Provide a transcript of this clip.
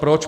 Proč?